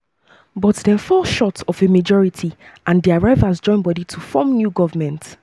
but dem fell short of a of a majority and dia rivals join body to form new government.